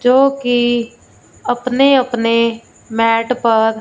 जोकि अपने अपने मैट पर--